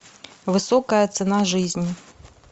высокая цена жизни